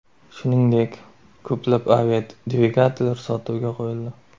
Shuningdek, ko‘plab aviadvigatellar sotuvga qo‘yildi.